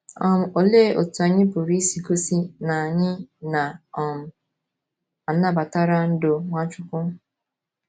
um Olee otú anyị pụrụ isi gosi na anyị na - um anabatara ndú Nwachukwu?